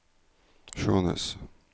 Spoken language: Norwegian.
Skjånes